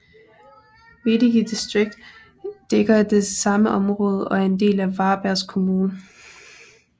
Veddige distrikt dækker det samme område og er en del af Varbergs kommun